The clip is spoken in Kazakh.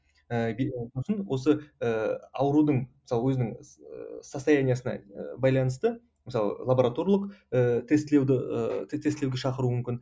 сосын осы ыыы аурудың мысалы өзінің состояниесіне байланысты мысалы лабораторлық ыыы тестілеуді ыыы тестілеуге шақыруы мүмкін